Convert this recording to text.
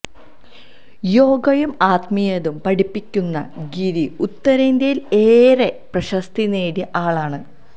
യോഗയും ആത്മീയതയും പഠിപ്പിക്കുന്ന ഗിരി ഉത്തരേന്ത്യയിൽ ഏറെ പ്രശസ്തി നേടിയ ആളാണ്